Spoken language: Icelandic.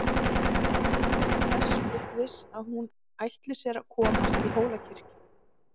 Erlendur er þess fullviss að hún ætli sér að komast í Hólakirkju.